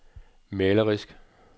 malerisk